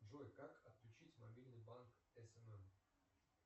джой как отключить мобильный банк смм